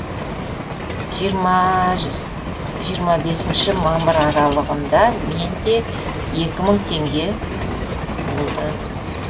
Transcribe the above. жиырма жиырма бесінші мамыр аралығын да мен де екі мың теңге болды